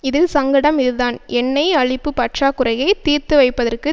இதில் சங்கடம் இதுதான் எண்ணெய் அளிப்பு பற்றாக்குறையை தீர்த்து வைப்பதற்கு